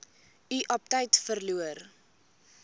u aptyt verloor